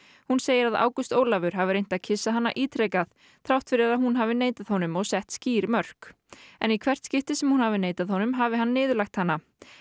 hún segir að Ágúst Ólafur hafi reynt að kyssa hana ítrekað þrátt fyrir að hún hafi neitað honum og sett skýr mörk en í hvert sinn sem hún hafi neitað honum hafi hann niðurlægt hana